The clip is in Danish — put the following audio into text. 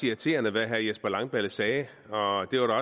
irriterende hvad jesper langballe sagde og det